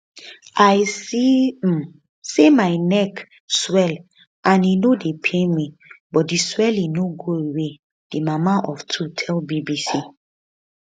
i see um say my neck swell and e no dey pain me but di swelling no go away di mama of two tell bbc um